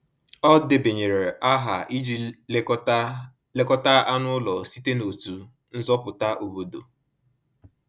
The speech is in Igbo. Ọ debanyere aha iji lekọta lekọta anụ ụlọ site n’otu nzọpụta obodo.